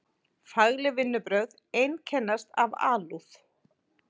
Fagleg vinnubrögð einkennast af alúð.